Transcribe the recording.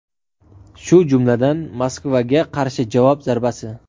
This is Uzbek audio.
shu jumladan Moskvaga qarshi javob zarbasi.